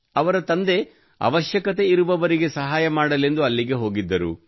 ಅವರ ತಂದೆ ಅವಶ್ಯಕತೆಯಿರುವವರಿಗೆ ಸಹಾಯ ಮಾಡಲೆಂದು ಅಲ್ಲಿಗೆ ಹೋಗಿದ್ದರು